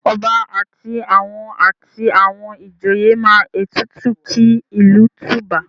Ọba àti àwọn àti àwọn ìjòye máa ètùtù kí ìlú tùbà?